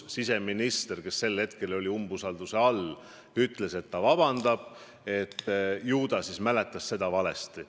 Siseminister, kellele sel hetkel avaldati umbusaldust, ütles, et ta palub vabandust, et ju ta siis mäletas seda valesti.